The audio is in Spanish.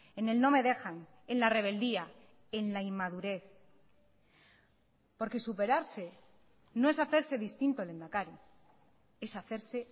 en el no me dejan en la rebeldía en la inmadurez porque superarse no es hacerse distinto lehendakari es hacerse